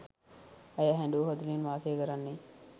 ඇය හැඬු කඳුළෙන් වාසය කරන්නේ.